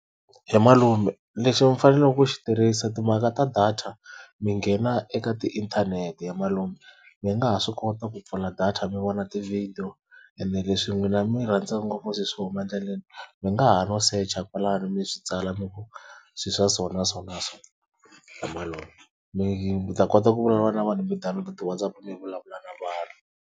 He malume lexi mi faneleke ku xi tirhisa timhaka ta data mi nghena eka ti inthanete he malume, mi nga ha swi kota ku pfula data mi vona tivhidiyo ene leswi n'wina mi rhandza ngopfu swilo swo huma endleleni mi nga ha no secha kwalano mi swi tsala mi vo swilo swa so na so na so he malume mi ta kota ku vulavula na vanhu mi download ti-WhatsApp mi vulavula na vanhu.